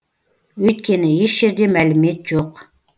өйткені еш жерде мәлімет жоқ